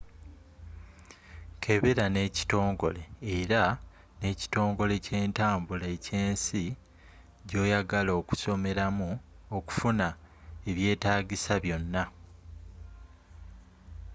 kebera ne kitongole era ne ekitongole kyentambula ekyensi gyoyagala okusomeramu okufuna ebyetagisa byonna